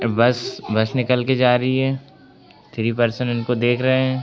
बस बस निकल के जा रही है। थ्री पर्सन उनको देख रहे हैं।